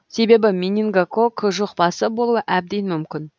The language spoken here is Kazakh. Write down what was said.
себебі менингококк жұқпасы болуы әбден мүмкін